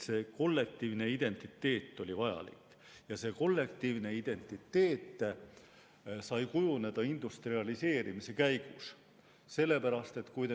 See kollektiivne identiteet oli vajalik ja see kollektiivne identiteet sai kujuneda industrialiseerimise käigus.